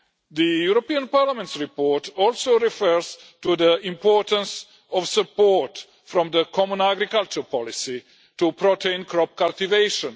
The European Parliament's report also refers to the importance of support from the common agricultural policy to protein crop cultivation.